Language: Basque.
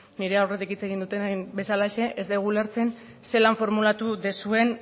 nire aurretik hitz egin dutenek bezalaxe ez dugu ulertzen zelan formulatu duzuen